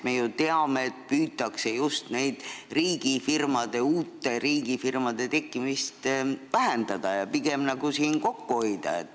Me ju teame, et püütakse uute riigifirmade tekkimist vähendada ja siin pigem kokku hoida.